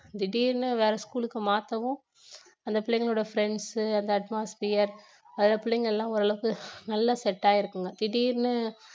திடீர்னு வேற school க்கு மாத்தவும் அந்த பிள்ளைங்களோட friends உ அந்த atmosphere அதுல புள்ளைங்க எல்லாம் ஓரளவுக்கு நல்ல set ஆயிருக்குங்க திடீர்னு